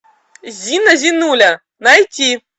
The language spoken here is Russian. зина зинуля найти